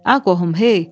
A qohum, hey!